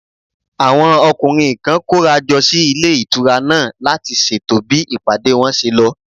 Àwọn ọkùnrin kan kóra jọ sí ilé ìtura náà láti ṣètò bí ìpàdé wọn ṣe lọ